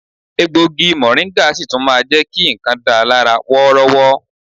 Egbògi mọ̀ríńgà sì tún máa jẹ ki nǹkan dà lára wọ́rọ́wọ́